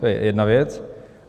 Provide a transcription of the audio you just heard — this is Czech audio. To je jedna věc.